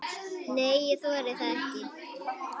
Nei, ég þori það ekki.